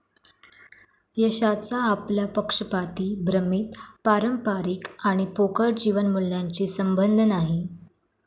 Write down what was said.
यशाचा आपल्या पक्षपाती, भ्रमित, पारंपरिक आणि पोकळ जीवन मूल्यांशी संबंध नाही.